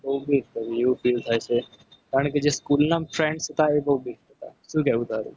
એવું feel થાય છે. પણ school ના friend હતા એ બહુ best હતા. શું કહેવું તારું